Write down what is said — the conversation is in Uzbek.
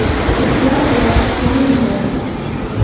Sizlar bor, men bor.